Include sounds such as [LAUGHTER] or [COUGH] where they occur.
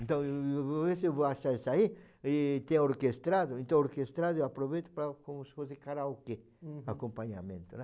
Então eu [UNINTELLIGIBLE] vou ver se vou achar isso aí, e tem orquestrado, então o orquestrado eu aproveito para, como se fosse karaokê, uhum, acompanhamento, né?